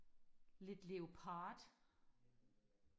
lidt leopard